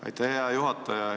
Aitäh, hea juhataja!